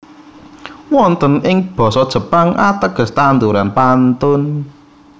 Wonten ing Basa Jepang ateges tanduran pantun